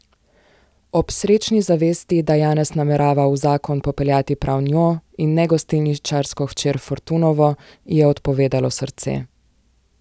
Ob srečni zavesti, da Janez namerava v zakon popeljati prav njo, in ne gostilničarsko hčer Fortunovo, ji je odpovedalo srce.